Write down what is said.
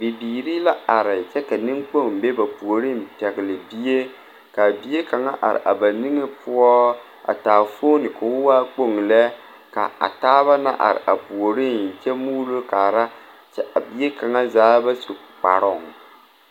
Bibiiri la are kyɛ ka niŋkpoŋ be ba puoriŋ pɛgle bie kaa bie kaŋ are a ba biŋe poɔ a taa foone ko waa kpoŋ lɛ ka a taaba na are a puoriŋ kyɛ muulo kaara kyɛ a bie kaŋa zaa ba su kparoŋ.